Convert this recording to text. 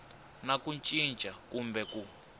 na ku cinca kumbe ku